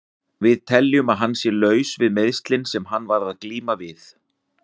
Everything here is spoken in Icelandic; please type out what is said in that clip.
Við teljum að hann sé laus við meiðslin sem hann var að glíma við.